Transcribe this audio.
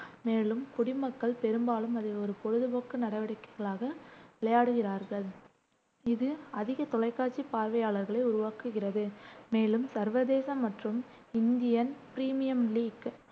மேலும் குடிமக்கள் பெரும்பாலும் அதை ஒரு பொழுதுபோக்கு நடவடிக்கைகளாக விளையாடுகிறார்கள் இது அதிக தொலைக்காட்சி பார்வையாளர்களை உருவாக்குகிறது, மேலும் சர்வதேச மற்றும் இந்தியன் பிரீமியர் லீக்